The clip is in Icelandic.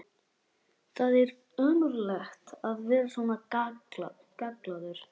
Það er ömurlegt að vera svona gallaður!